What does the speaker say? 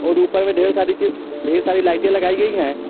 और ऊपर में ढेर सारी चीज ढेर सारी लाइटें लगाई गई हैं।